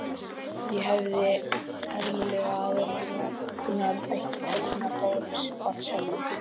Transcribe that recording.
Hefði ekki verið eðlilegra að Ragnar ætti tölvuna bara sjálfur?